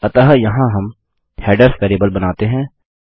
अतः यहाँ हम हेडर्स वेरिएबल बनाते हैं